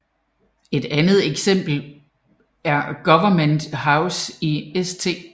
Et andet eksempel er Government House i St